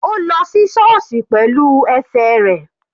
Ó lọ sí sọọsi pẹ̀lú ẹsẹ̀ rẹ̀.